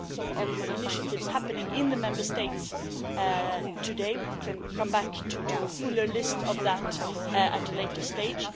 There are lots of initiatives happening in the Member States today we can come back to a fuller list of that at a later stage.